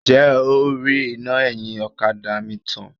Ǹjẹ́ o rí iná ẹ̀yìn ọ̀kadà mi tàn?